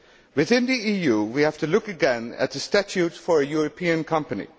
Within the EU, we have to look again at the statute for a European company.